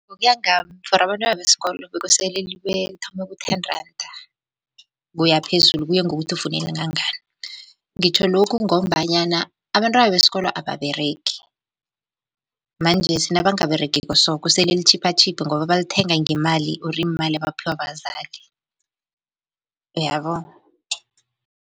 Ngokuya ngami for abantwana besikolo bekosele libe, lithome ku-ten randa ukuya phezulu. Kuye ngokuthi ufuna elingangani. Ngitjho lokhu, ngombanyana abantwana besikolo ababeregi manjesi nabangaberegiko so kosele litjhiphatjhiphe ngoba balithenga ngemali or iimali abaphiwa bazali uyabo.